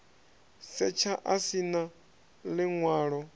setsha a si na ḽiṅwalo